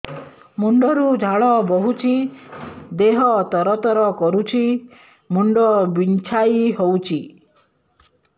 ମୁଣ୍ଡ ରୁ ଝାଳ ବହୁଛି ଦେହ ତର ତର କରୁଛି ମୁଣ୍ଡ ବିଞ୍ଛାଇ ହଉଛି